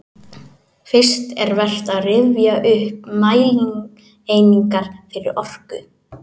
Fyrst er vert að rifja upp mælieiningar fyrir orku.